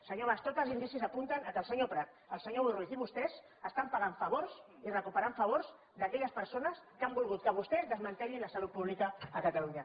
senyor mas tots els indicis apunten que el senyor prat el senyor boi ruiz i vostès estan pagant favors i recuperant favors d’aquelles persones que han volgut que vostès desmantellin la salut pública a catalunya